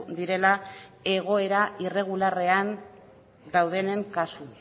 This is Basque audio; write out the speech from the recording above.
direla egoera irregularrean daudenen kasu